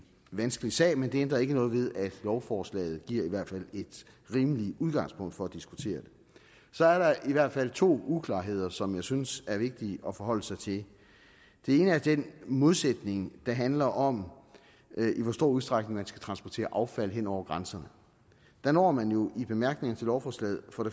vanskelig sag men det ændrer ikke ved at lovforslaget i hvert fald giver et rimeligt udgangspunkt for at diskutere det så er der i hvert fald to uklarheder som jeg synes er vigtige at forholde sig til den ene er den modsætning der handler om i hvor stor udstrækning man skal transportere affald hen over grænserne der når man jo i bemærkningerne til lovforslaget på